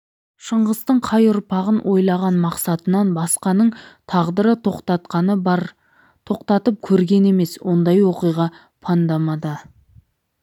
шыңғыстың қай ұрпағын ойлаған мақсатынан басқаның тағдыры тоқтатқаны бар тоқтатып көрген емес ондай оқиға панднамада да